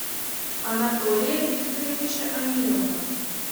анатолия викторовича амирова